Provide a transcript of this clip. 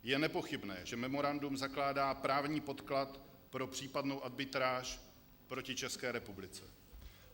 Je nepochybné, že memorandum zakládá právní podklad pro případnou arbitráž proti České republice.